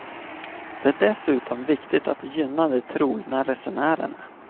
Det är dessutom viktigt att gynna de trogna resenärerna.